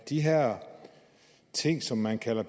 de her ting som man kalder